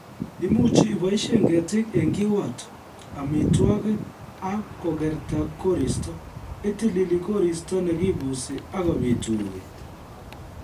Imuchi iboisie ketiik eng kiwato, amitwokik ak kokerta koristo ,itilili koristo nekibusi ak kobit urweet